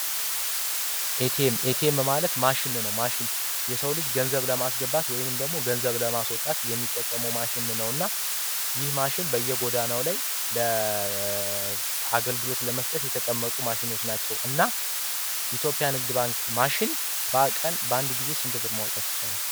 ኤቲኤም፣ ኤቲኤም ማለት ማሽኖች ናቸው፤ ሰዎች ገንዘብ ለማስገባት ወይም ደግሞ ገንዘብ ለማስወጣት የሚጠቀመው ማሽን ነውና ይህ ማሽን በየጎዳነው ላይ አገልግሎት ለመስጠት የተቀመጡ ማሽኖች ናቸው፤ እና የኢትዮጵያ ንግድ ባንክ ማሽን በአንድ ጊዜ ስንት ብር ማውጣት ይቻላል?